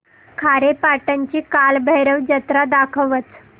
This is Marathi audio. खारेपाटण ची कालभैरव जत्रा दाखवच